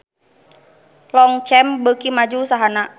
Longchamp beuki maju usahana